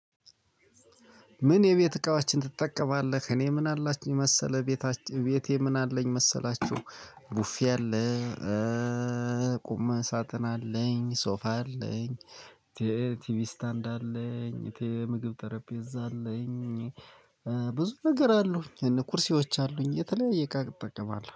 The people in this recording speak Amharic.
ምን የቤት እቃዎችን ትጠቀማለህ? እኔ ምን አላችኝ መሰለህ? ቤታችን ቤቴ ምን አለኝ መሰላችሁ ቡፌ አለ ቁምን ሳጥን አለኝ ሶፋ አለኝ። ቲቪ ስታንድ አለኝ፣ ቲቪ የምግብ ጠረጴዛ አለኝ ብዙ ነገር አሉኝ። እነ ቁርስወች አሉኝ የተለያየ እቃ እጠቀማለሁ።